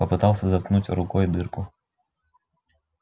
попытался заткнуть рукой дырку